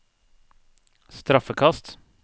straffekast